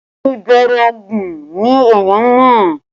Ìbẹ̀rẹ̀ ogun ni èèyàn ń mọ